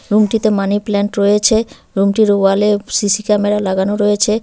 রুমটিতে মানিপ্লান্ট রয়েছে রুমটির ওয়ালে সি_সি ক্যামেরা লাগানো রয়েছে।